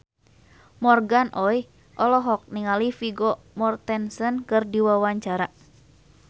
Morgan Oey olohok ningali Vigo Mortensen keur diwawancara